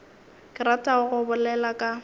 ke ratago go bolela ka